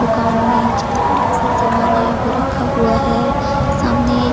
दुकान में जितने भी राशन समान है वो रखा हुआ है सामने--